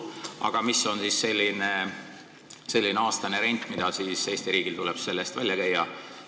Aga mis on aastane rent, mida Eesti riigil tuleb selle eest välja käia?